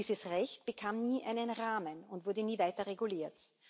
Nur, dieses Recht bekam nie einen Rahmen und wurde nie weiter reguliert.